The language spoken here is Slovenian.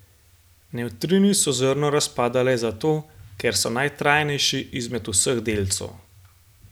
Nevtrini so zrno razpada le zato, ker so najtrajnejši izmed vseh delcev.